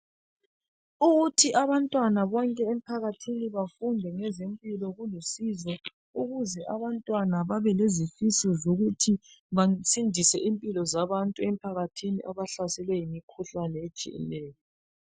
Ukuthi abantwana bonke emphakathini bafunde ngezempilo kulusizo ukuze abantwana babelezifiso zokuthi basindise impilo zabantu emphakathini abahlaselwe yimikhuhlane etshiyeneyo.